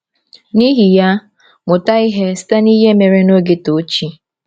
N’ihi ya, mụta ihe site n’ihe mere n’oge Tochi.